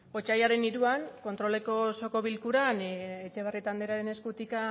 otsailaren hiruan kontroleko osoko bilkuran etxebarrieta andrearen eskutik